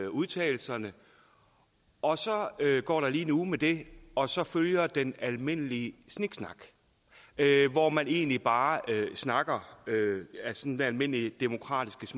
udtalelserne og så går der lige en uge med det og så følger den almindelige sniksnak hvor man egentlig bare snakker sådan almindelig demokratisk